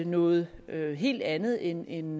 noget helt andet end en